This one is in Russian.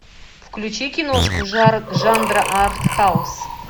включи киношку жанра артхаус